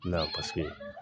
paseke